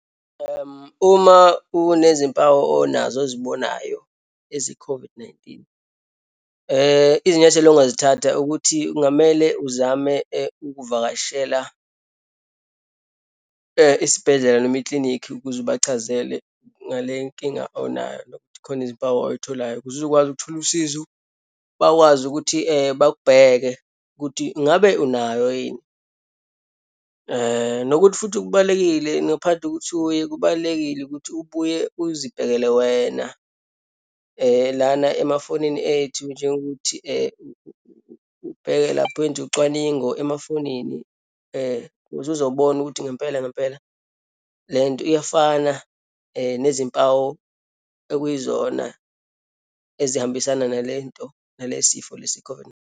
Uma unezimpawu onazo ozibonayo eziyi-COVID-19, izinyathelo ongazithatha ukuthi kungamele uzame ukuvakashela isibhedlela noma ikilinikhi, ukuze ubachazele ngale nkinga onayo nokuthi khona izimpawu oyitholayo, ukuze uzokwazi ukuthola usizo, bakwazi ukuthi bakubheke ukuthi ngabe unayo yini. Nokuthi futhi kubalulekile ngaphandle kokuthi uye, kubalulekile ukuthi ubuye uzibhekele wena lana emafonini ethu njengokuthi ubheke lapho, wenze ucwaningo emafonini ukuze uzobona ukuthi ngempela ngempela lento iyafana nezimpawu okuyizona ezihambisana nalento, nale sifo lesi i-COVID.